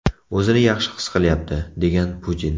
O‘zini yaxshi his qilyapti”, degan Putin.